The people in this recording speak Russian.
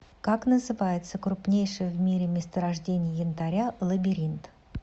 как называется крупнейшее в мире месторождение янтаря лабиринт